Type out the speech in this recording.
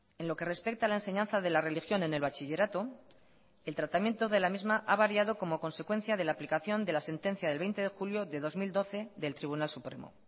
en lo que respecta a la enseñanza de la religión en el bachillerato el tratamiento de la misma ha variado como consecuencia de la aplicación de la sentencia del veinte de julio de dos mil doce del tribunal supremo